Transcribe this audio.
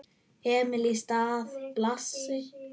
Emil í stað Blasi?